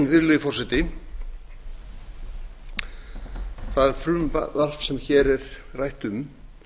virðulegi forseti það frumvarp sem hér er rætt um